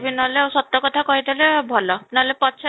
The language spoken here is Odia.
ନହେଲେ ସତ କଥା କହିଦେଲେ ଭଲ ନହେଲେ ପଛ